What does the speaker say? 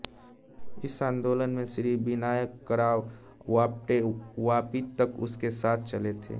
इस आन्दोलन में श्री विनायकराव आप्टे वापी तक उनके साथ चले थे